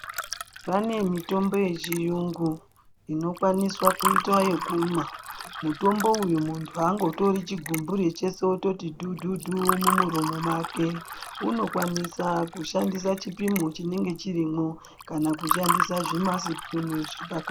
Pane mitombo yechiyungu inokwaniswa kuitwa yekumwa. Mutombo uyu muntu haangotori chigumbure chese ototi dhudhudhu mumuromi make. Unokwanisa kushandisa chipimo chinenge chirimwo, kana kushandisa zvimasipunu zvepaka...